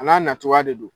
A n'a nataa de don